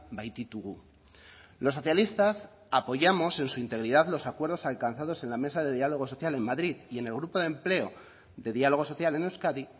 baititugu los socialistas apoyamos en su integridad los acuerdos alcanzados en la mesa de diálogo social en madrid y en el grupo de empleo de diálogo social en euskadi